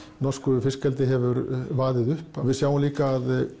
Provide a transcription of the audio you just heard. norsku fiskeldi hefur vaðið upp við sjáum líka að